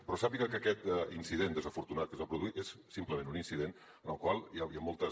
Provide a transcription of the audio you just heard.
però sàpiga que aquest incident desafortunat que es va produir és simplement un incident en el qual hi han moltes